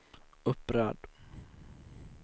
upprörd